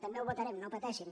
també ho votarem no pateixin